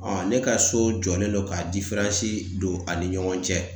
ne ka so jɔlen don ka don a ni ɲɔgɔn cɛ.